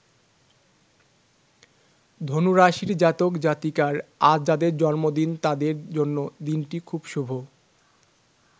ধনু রাশির জাতক-জাতিকার আজ যাদের জন্মদিন তাদের জন্য দিনটি খুব শুভ।